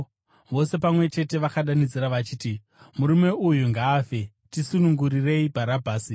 Vose pamwe chete vakadanidzira vachiti, “Murume uyu ngaafe! Tisunungurirei Bharabhasi!”